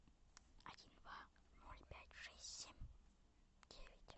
один два ноль пять шесть семь девять